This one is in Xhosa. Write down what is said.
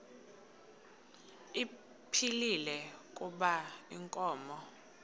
ephilile kuba inkomo